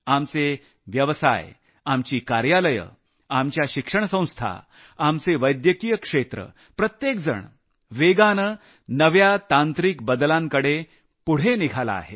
आपले व्यवसाय आपले कार्यालये आपले वैद्यकीय क्षेत्र प्रत्येकजण वेगानं नव्या तांत्रिक बदलांना आत्मसात करीत आहे